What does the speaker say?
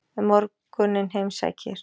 Um morguninn heimsækir